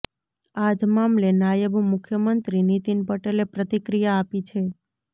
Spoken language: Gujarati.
આજ મામલે નાયબ મુખ્યમંત્રી નીતિન પટેલે પ્રતિક્રિયા આપી છે